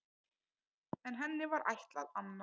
En henni var ætlað annað.